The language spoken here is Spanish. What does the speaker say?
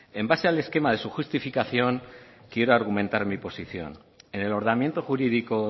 en base al esquema de su justificación quiero argumentar mi posición en el ordenamiento jurídico